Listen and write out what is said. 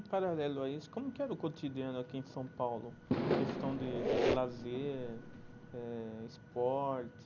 Em paralelo a isso, como que era o cotidiano aqui em São Paulo, questão de de lazer eh, esporte?